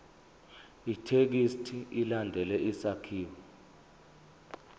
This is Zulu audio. ithekisthi ilandele isakhiwo